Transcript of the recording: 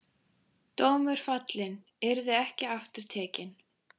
Dómur fallinn, yrði ekki aftur tekinn.